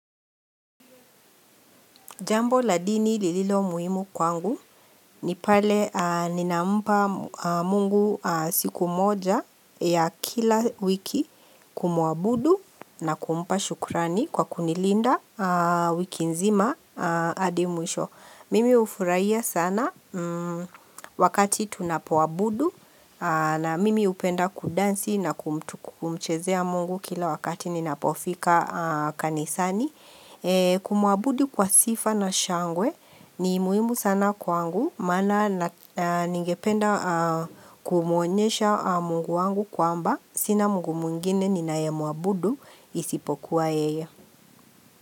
Jambo la dini lililo muhimu kwangu ni pale ninampa mungu siku moja ya kila wiki kumuabudu na kumpa shukrani kwa kunilinda wiki nzima adimwisho. Mimi ufurahia sana wakati tunapoabudu na mimi upenda kudansi na kumchezea mungu kila wakati ninapofika kanisani. Kumuabudu kwa sifa na shangwe ni muhimu sana kwangu Maana ningependa kumuonyesha mungu wangu kwa mba Sina mungu mwingine ni naye muabudu isipokuwa yeye.